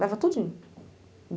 Leva tudinho.